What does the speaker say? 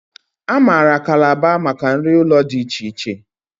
A maara Kalaba maka nri ụlọ dị iche iche